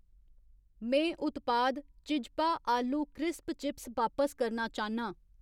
में उत्पाद चिज्पा आलू क्रिस्प चिप्स बापस करना चाह्न्नां